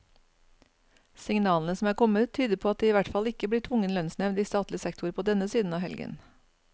Signalene som er kommet, tyder på at det i hvert fall ikke blir tvungen lønnsnevnd i statlig sektor på denne siden av helgen.